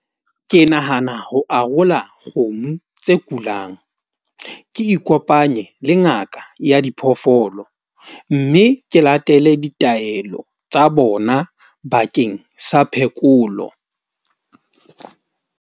Ke nahana ho arola kgomo tse kulang. Ke ikopanye le ngaka ya diphoofolo. Mme ke latele ditaelo tsa bona bakeng sa phekolo.